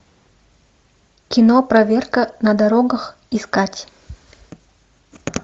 кино проверка на дорогах искать